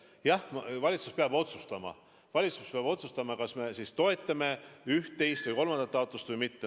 Jah, valitsus peab otsustama, kas me toetame üht, teist või kolmandat taotlust või mitte.